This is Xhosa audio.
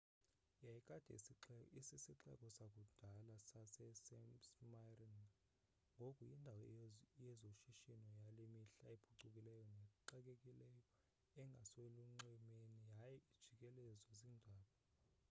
yayikade isisixeko sakudala sase-smyrna ngoku yindawo yezoshishino yale mihla ephucukileyo nexakekileyo engaselunxwemeni yaye ejikelezwe ziintaba